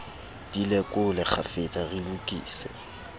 di lekole kgafetsa re lokise